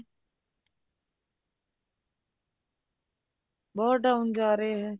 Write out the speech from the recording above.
ਬਹੁਤ down ਜਾ ਰਿਹਾ